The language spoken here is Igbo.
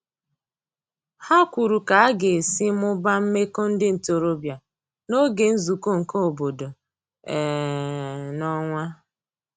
Ha kwuru ka aga esi mụbaa meko ndi ntorobia n'oge nzuko nke obodo um n'onwa